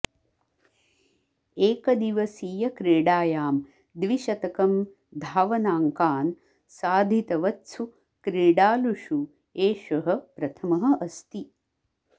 एकदिवसीयक्रीडायां द्विशतकं धावनाङ्कान् साधितवत्सु क्रीडालुषु एषः प्रथमः अस्ति